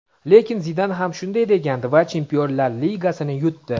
lekin Zidan ham shunday degandi va Chempionlar ligasini yutdi;.